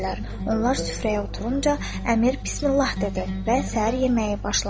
Onlar süfrəyə oturunca əmir Bismillah dedi və səhər yeməyi başlandı.